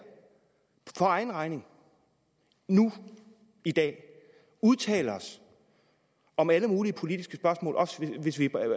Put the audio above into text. for egen regning nu i dag udtale os om alle mulige politiske spørgsmål også hvis vi